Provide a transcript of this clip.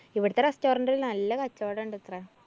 ഇവിടുത്തെ restaurant ല്‍ നല്ല കച്ചോടം ഉണ്ടത്ത്രേ.